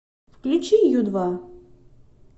включи ю два